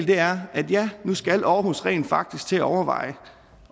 det er at nu skal aarhus rent faktisk til at overveje